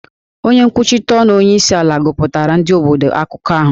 Onye nkwuchite ọnụ onyeisiala gụpụtara ndị obodo akụkọ ahụ